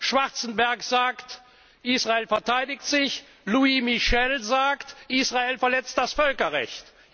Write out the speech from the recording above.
reden. Schwarzenberg sagt, Israel verteidigt sich, Louis Michel sagt, Israel verletzt das Völkerrecht.